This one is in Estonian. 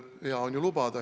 Hea on ju lubada.